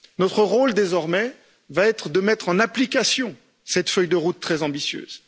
Notre rôle, désormais, va être de mettre en application cette feuille de route très ambitieuse.